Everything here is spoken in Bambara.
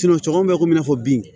cɛw bɛ komi i n'a fɔ bin